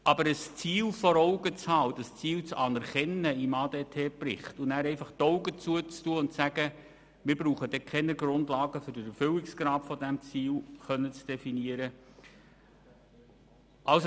Aus Sicht der Oberaufsicht ist es keine Option, wenn er zwar ein Ziel vor Augen hat und dieses Ziel im ADT-Bericht anerkennt, dann jedoch einfach die Augen verschliesst und sagt, wir brauchen keine Grundlagen um den Erfüllungsgrad dieses Ziels definieren zu können.